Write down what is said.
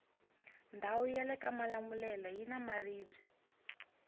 ndawu yalekamalamulele yina maribwe